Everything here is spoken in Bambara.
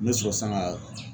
Me sɔrɔ sisan ka